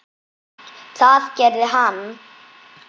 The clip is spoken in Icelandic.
Það gerði hann.